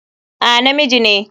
A, na miji ne.